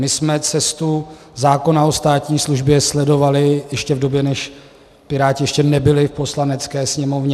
My jsme cestu zákona o státní službě sledovali ještě v době, kdy Piráti ještě nebyli v Poslanecké sněmovně.